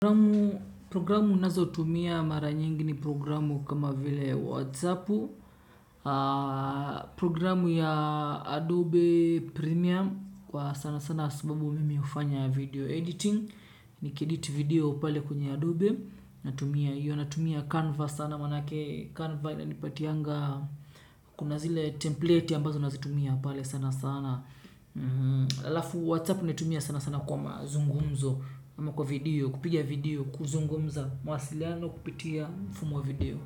Programu nazotumia mara nyingi ni programu kama vile Whatsappu, Programu ya Adobe Premium kwa sana sana sababu mimi hufanya video editing. Nikiedit video pale kwenye Adobe. Natumia hiyo natumia Canva sana maanake Canva inanipatianga kuna zile template ambazo nazitumia pale sana sana halafu whatsappu natumia sana sana kwa mazungumzo. Ama kwa video, kupiga video, kuzungumza, mawasiliano, kupitia, mfumo wa video.